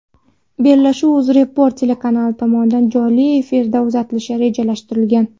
Bellashuv UzReport telekanali tomonidan jonli efirda uzatilishi rejalashtirilgan.